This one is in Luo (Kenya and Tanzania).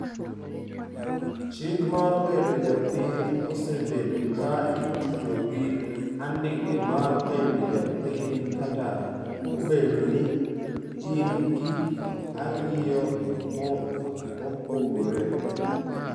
Chik mar bedo ja piny osebedo ka itudo gi andike mar bedo ja piny, kata obedo ni gin gik ariyo mopogore.